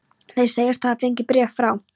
Þeir segjast hafa fengið bréf frá